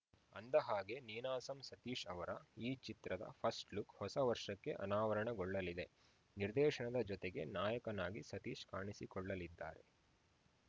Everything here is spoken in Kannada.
ಅಂದಹಾಗೆ ನೀನಾಸಂ ಸತೀಶ್‌ ಅವರ ಈ ಚಿತ್ರದ ಫಸ್ಟ್‌ ಲುಕ್‌ ಹೊಸ ವರ್ಷಕ್ಕೆ ಅನಾವರಣಗೊಳ್ಳಲಿದೆ ನಿರ್ದೇಶನದ ಜತೆಗೆ ನಾಯಕನಾಗಿ ಸತೀಶ್‌ ಕಾಣಿಸಿಕೊಳ್ಳಲಿದ್ದಾರೆ